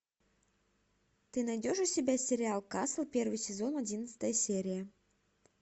ты найдешь у себя сериал касл первый сезон одиннадцатая серия